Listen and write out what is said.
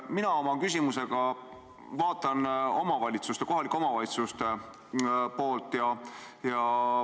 Mina pean oma küsimusega silmas kohalike omavalitsuste poolt.